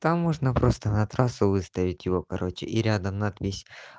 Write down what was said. там можно просто на трассу выставить его короче и рядом надпись